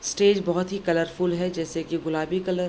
Stage बहोत ही colourful है जैसे की गुलाबी कलर ।